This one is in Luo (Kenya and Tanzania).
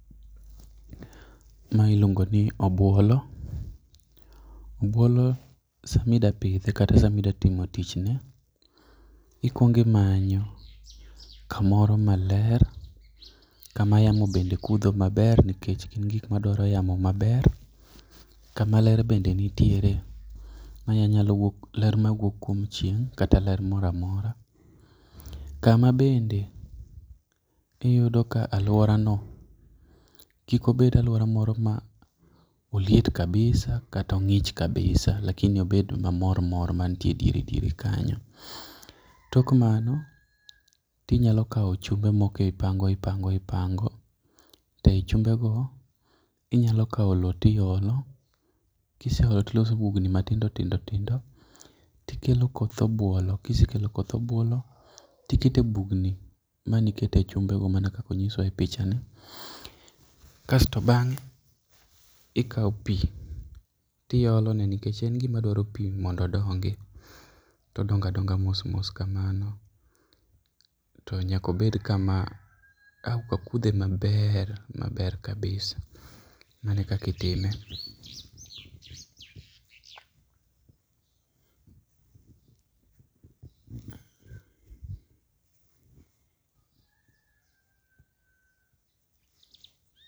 Mae iluongo ni obuolo, obuolo sama idwa pidhe kata sama idwa timo tichne, ikuongo imanyo kamoro maler, kama yamo bende kudho maber nikech gin gik madwaro yamo maber. Kama ler bende nitiere manyalo wuok ler mawuok kuom chieng' kata ler moro amora. Kama bende iyudo ka aluora no kikobed aluora moro ma oliet kabisa kata ong'ich kabisa lakini obed mamormor mantie ediere diere kanyo. Tok mano, to inyalo kawo chumbe moko ipango ipango ipango to ei chumbego, inyalo kawo lowo to iolo kiseolo to iloso ebugni matindo tindo tindo, to ikelo koth obuolo kisekelo koth obuolo to iketo bugni mane ikete chumbego mana kaka onyiswa e pichani kasto bang'e ikawo pi tiolone nikech en gima dwaro pi mondo odongi to odongo adonga mos mos kamano. To nyaka obed kama auka kudhe maber maber kabisa. Mano ekaka itime.